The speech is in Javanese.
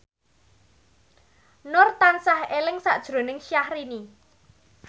Nur tansah eling sakjroning Syahrini